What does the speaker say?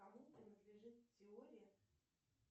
кому принадлежит теория